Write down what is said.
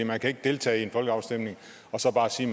man kan ikke deltage i en folkeafstemning og så bare sige